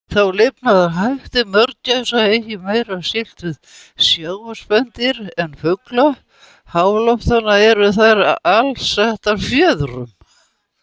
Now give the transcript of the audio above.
Þó lifnaðarhættir mörgæsa eigi meira skylt við sjávarspendýr en fugla háloftanna, eru þær alsettar fjöðrum.